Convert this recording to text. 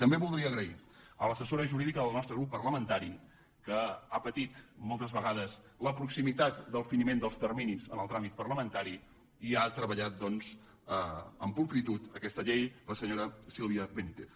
també voldria donar les gràcies a l’assessora jurídica del nostre grup parlamentari que ha patit moltes vegades la proximitat del finiment dels terminis en el tràmit parlamentari i ha treballat doncs amb pulcritud aquesta llei la senyora sílvia benítez